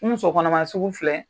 N muso kɔnɔma sugu filɛ.